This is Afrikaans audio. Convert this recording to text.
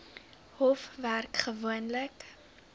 hof werk gewoonlik